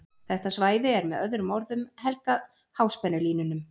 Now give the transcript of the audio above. Þetta svæði er með öðrum orðum helgað háspennulínunum.